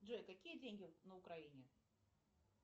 джой какие деньги на украине